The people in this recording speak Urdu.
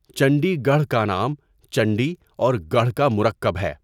چنڈی گڑھ کا نام چنڈی اور گڑھ کا مرکب ہے۔